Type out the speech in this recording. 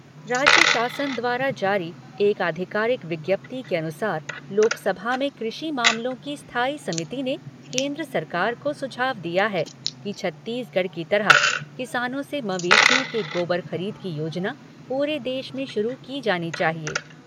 राज्य शासन द्वारा जारी एक आधिकारिक विज्ञप्ति के अनुसार लोकसभा में कृषि मामलों की स्थायी समिति ने केन्द्र सरकार को सुझाव दिया है कि छत्तीसगढ़ की तरह किसानों से मवेशियों के गोबर खरीद की योजना पूरे देश में शुरू की जानी चाहिए।